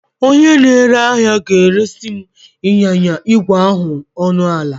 Onye na-ere ahịa ga-eresị m ịnyịnya ígwè ahụ ọnụ ala